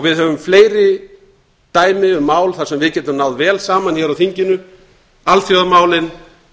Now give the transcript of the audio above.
við höfum fleiri dæmi um mál þar sem við getum náð vel saman hér á þinginu alþjóðamálin